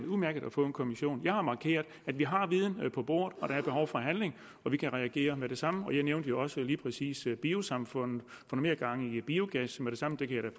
udmærket at få en kommission jeg har markeret at vi har viden på bordet og at der er behov for handling vi kan reagere med det samme og jeg nævnte jo også lige præcis biosamfundet at mere gang i biogas med det samme det kan